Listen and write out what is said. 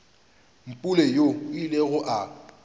mpule yoo a ilego a